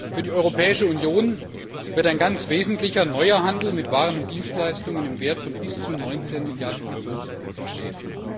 Für die Europäische Union wird ein ganz wesentlicher neuer Handel mit Waren und Dienstleistungen im Wert von bis zu 19 Milliarden Euro entstehen.